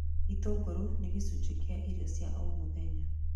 Itũngũrũ nĩ gĩcunjĩ kĩa irio cia o mũthenya